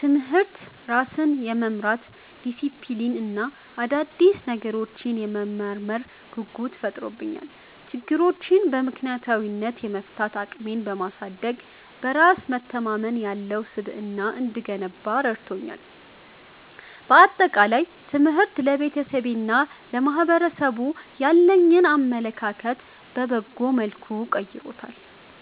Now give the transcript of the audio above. ትምህርት ራስን የመምራት ዲሲፕሊን እና አዳዲስ ነገሮችን የመመርመር ጉጉት ፈጥሮብኛል። ችግሮችን በምክንያታዊነት የመፍታት አቅሜን በማሳደግ፣ በራስ መተማመን ያለው ስብዕና እንድገነባ ረድቶኛል። በአጠቃላይ፣ ትምህርት ለቤተሰቤና ለማኅበረሰቡ ያለኝን አመለካከት በበጎ መልኩ ቀይሮታል።